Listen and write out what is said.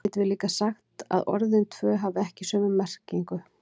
Því getum við líka sagt að orðin tvö hafi ekki sömu merkingu.